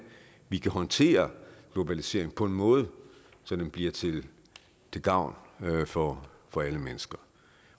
vi kan håndtere globaliseringen på en måde så den bliver til gavn for for alle mennesker